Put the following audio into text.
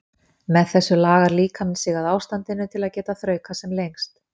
með þessu lagar líkaminn sig að ástandinu til að geta þraukað sem lengst